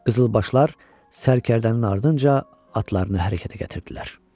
Qızılbaşlar sərkərdənin ardınca atlarını hərəkətə gətirdilər.